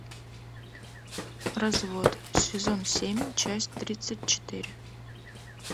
развод сезон семь часть тридцать четыре